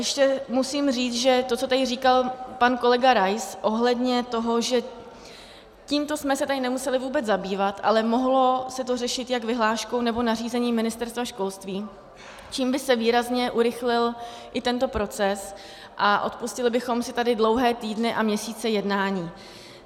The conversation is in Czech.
Ještě musím říct, že to, co tady říkal pan kolega Rais ohledně toho, že tímto jsme se tady nemuseli vůbec zabývat, ale mohlo se to řešit jak vyhláškou nebo nařízením Ministerstva školství, čímž by se výrazně urychlil i tento proces a odpustili bychom si tady dlouhé týdny a měsíce jednání.